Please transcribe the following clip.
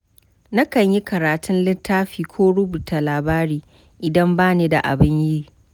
Nakan yi karatun littafi ko rubuta labari, idan bani da abin yi.